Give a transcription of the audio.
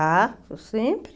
Ah, sempre.